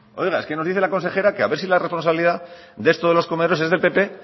es que nos dice la consejera que a ver si la responsabilidad de esto de los comedores es del pp